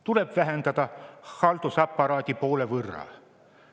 Tuleb vähendada haldusaparaati poole võrra.